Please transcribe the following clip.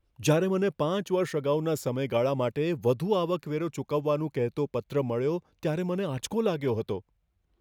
જ્યારે મને પાંચ વર્ષ અગાઉના સમયગાળા માટે વધુ આવકવેરો ચૂકવવાનું કહેતો પત્ર મળ્યો, ત્યારે મને આંચકો લાગ્યો હતો.